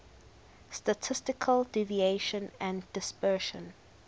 statistical deviation and dispersion